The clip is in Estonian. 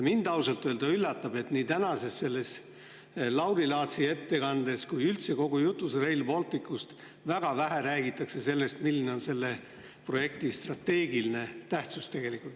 Mind ausalt öelda üllatab, et nii tänases Lauri Laatsi ettekandes kui ka üldse kogu jutus Rail Balticust väga vähe räägitakse sellest, milline on selle projekti strateegiline tähtsus.